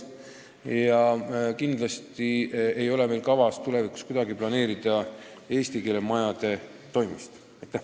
Kindlasti ei ole meil kavas tulevikus kuidagi eesti keele majade toimimist planeerida.